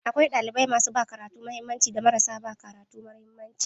Akwai ɗalibai masu ba karatu mahimmanci da marasa ba karatu mahimmanci.